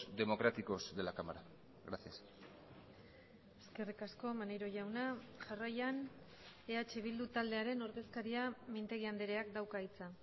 democráticos de la cámara gracias eskerrik asko maneiro jauna jarraian eh bildu taldearen ordezkaria mintegi andreak dauka hitza